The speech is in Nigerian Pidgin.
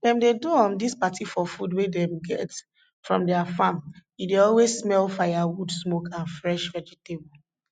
dem dey do um dis party for food wey dem get from their farm e dey always smell firewood smoke and fresh vegetable